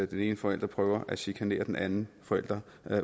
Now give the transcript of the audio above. den ene forælder prøver at chikanere den anden forælder